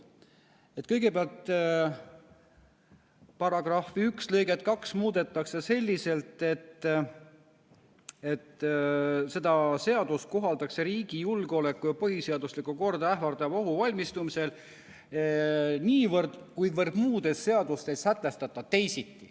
Kõigepealt, § 1 lõiget 2 muudetakse selliselt, et seda seadust kohaldatakse riigi julgeolekut ja põhiseaduslikku korda ähvardavaks ohuks valmistumisel niivõrd, kuivõrd muudes seadustes ei sätestata teisiti.